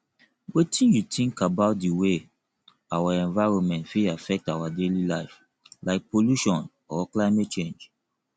wetin you think about di way our environment fit affect our daily life like pollution or climate change